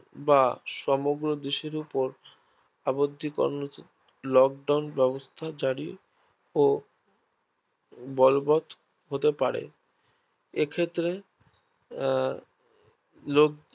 বা সমগ্র দেশের উপর আবদ্ধি করন Lockdown ব্যাবস্থা জারি ও বলবত হতে পারে এক্ষেত্রে